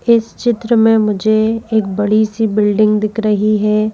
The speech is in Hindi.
इस चित्र में मुझे एक बड़ी सी बिल्डिंग दिख रही है।